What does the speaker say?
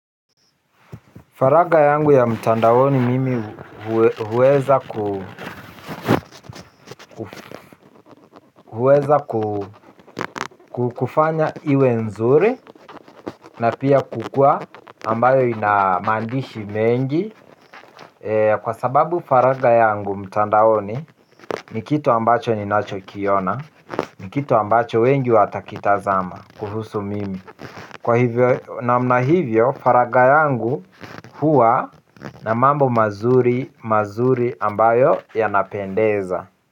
Faraga yangu ya mtandaoni mimi huweza kufanya iwe nzuri na pia kukua ambayo inamandishi mengi. Kwa sababu faraga yangu mtandaoni ni kitu ambacho ni nacho kiona, ni kitu ambacho wengi watakitazama kuhusu mimi. Kwa hivyo namna hivyo faraga yangu huwa na mambo mazuri ambayo yanapendeza.